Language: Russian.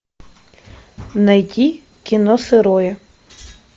найти кино сырое